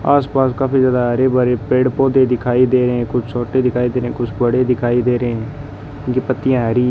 आसपास काफी ज्यादा हरे भरे पेड़ पौधे दिखाई दे रहे हैं कुछ छोटे दिखाई दे रहे हैं कुछ बड़े दिखाई दे रहे हैं उनकी पत्तियां हरी --